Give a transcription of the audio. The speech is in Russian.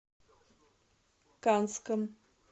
канском